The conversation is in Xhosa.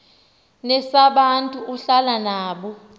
nesabantu ahlala nabo